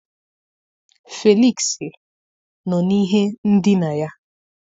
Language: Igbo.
Felịksị nọ n'ihe ndina ya